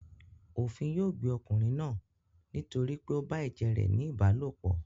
Òfin yóò gbé ọkùnrin náà nítorí pé ó bá ẹ̀jẹ̀ rẹ̀ ní ìbálòpọ̀.